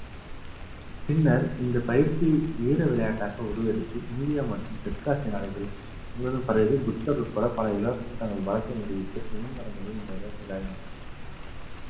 பின்னர் இந்த பயிற்சி வீர விளையாட்டாக உருவெடுத்து media மற்றும் தெற்காசிய நாடுகள் முழுதும் பரவி புத்தர் உட்பட பல இளவரசன் தங்கள் நிரூபித்து சுயம்வரங்களில் இந்த விளையாட்டுகளை விளையாடி~